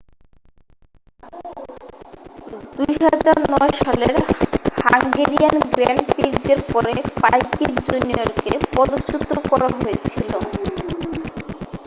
2009 সালের Hungarian grand প্রিক্সের পরে পাইকিট জুনিয়রকে পদচ্যুত করা হয়েছিল